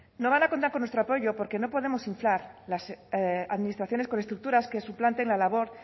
no van a contar con nuestro apoyo porque no podemos inflar las administraciones con estructuras que suplanten la labor